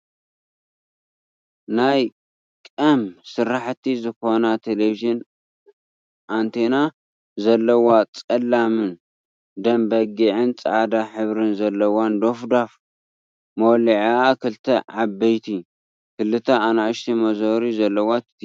ናይ ቀም ስራሕቲ ዝኮና ቴለቨዠን ኣንቲና ዘለዋ ፀላምን ደምበጊዕን ፃዕዳን ሕብሪ ዘለዋ ዶፍዳፍ መወልዒኣ ክልተ ዓበይቲ ክልተ ኣናእሽተይ መዞሪ ዘለዋ ቲቪ እያ ።